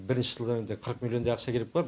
бірінші жылы енді қырық милллиондай ақша керек болар